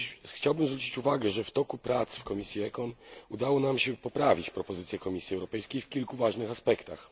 Chciałbym zwrócić uwagę, że w toku prac w komisji ECON udało nam się poprawić propozycję Komisji Europejskiej w kilku ważnych aspektach.